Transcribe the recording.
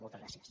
moltes gràcies